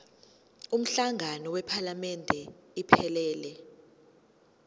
umhlangano wephalamende iphelele